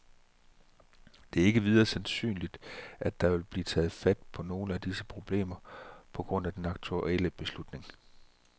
Det er ikke videre sandsynligt, at der vil blive taget fat på nogen af disse problemer på grund af den aktuelle beslutning.